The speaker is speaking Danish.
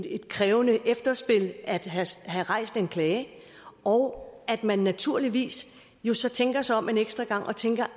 et krævende efterspil at have rejst en klage og at man naturligvis jo så tænker sig om en ekstra gang og tænker